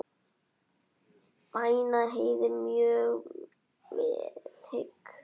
Mæna heyið mjög vel hygg.